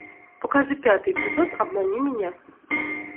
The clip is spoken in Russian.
покажи пятый эпизод обмани меня